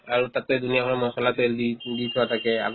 আৰু তাতে দুনীয়া ভৰৰ মছলা তেল দি দি থোৱা থাকে আগত